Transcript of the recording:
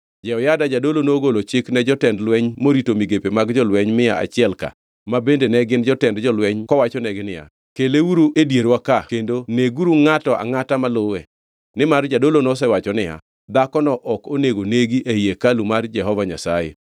Jehoyada jadolo nogolo chik ne jotend lweny morito migepe mag jolweny mia achiel-ka, ma bende ne gin jotend jolweny kowachonegi niya, “Keleuru e dierwa ka kendo neguru ngʼato angʼata maluwe.” Nimar jadolo nosewacho niya, “Dhakono ok onego negi ei hekalu mar Jehova Nyasaye.”